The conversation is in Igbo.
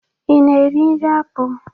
Ị na-eri nri akpụ?